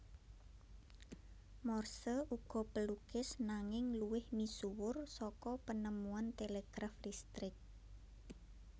Morse uga pelukis nanging luwih misuwur saka penemuan telegraf listrik